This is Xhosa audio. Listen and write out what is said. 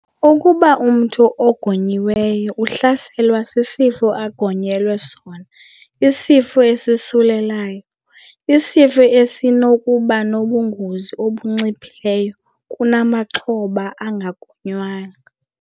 Ukuba umntu ogonyiweyo uhlaselwe sisifo agonyelwe sona, isifo esosulelayo, isifo sinokuba nobungozi obunciphileyo kunamaxhoba angagonywanga.